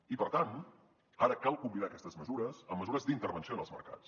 i per tant ara cal combinar aquestes mesures amb mesures d’intervenció en els mercats